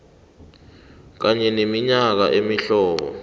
kanye neminye imihlobo